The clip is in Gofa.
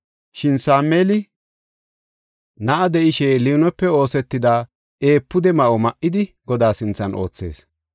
Shin Sameeli na7a de7ishe liinope oosetida efuude ma7o ma7idi Godaa sinthan oothees.